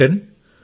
captain